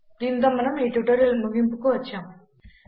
దీనితో మనం ఈ ట్యుటోరియల్ ముగింపుకు వచ్చాం